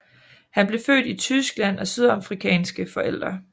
Han blev født i Tyskland af sydafrikanske forældre